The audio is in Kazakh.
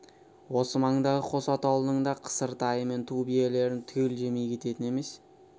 осы маңдағы қос атаулының да қысыр тайы мен ту биелерін түгел жемей кететін емес